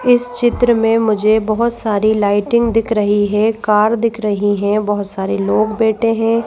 इस चित्र में मुझे बहुत सारी लाइटिंग दिख रही है कार दिख रही हैं बहुत सारे लोग बैठे हैं।